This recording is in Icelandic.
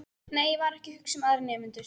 Nei, ég var ekki að hugsa um aðra nemendur.